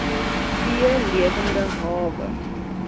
v lewende hawe